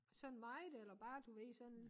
Sådan meget eller bare du ved sådan